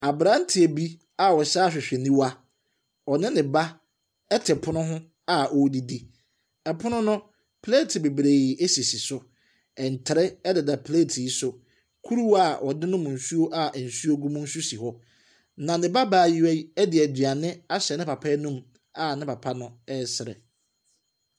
Aberanteɛ bi a ɔhyɛ ahwehwɛniwa, ɔne ne ba ɛte pono a ɔredidi. Pono no, plate bebree asisi so, ntere ɛdeda plate yi so, kuruwa a wɔde nom nsuo a nsuo agum nso si hɔ. Ne ne ba baayewa ɛde aduane ahyɛ ne papa ano a papa no ɛresere.